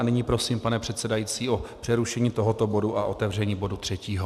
A nyní prosím, pane předsedající, o přerušení tohoto bodu a otevření bodu třetího.